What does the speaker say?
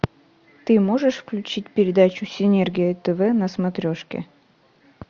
ты можешь включить передачу синергия тв на смотрешке